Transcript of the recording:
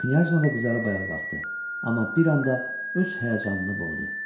Knyaj da qızarıb ayağa qalxdı, amma bir anda öz həyəcanını boğdu.